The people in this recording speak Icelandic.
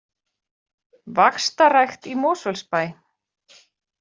Vaxtarrækt í Mosfellsbæ